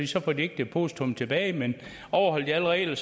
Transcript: så får de ikke depositummet tilbage men overholder de alle regler